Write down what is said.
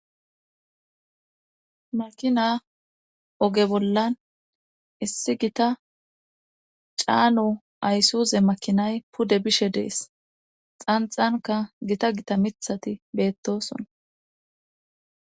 Makina oge bollan issi gita caano aysuze makinay pude bishe dees xanxanka gita gita mithati beettosona.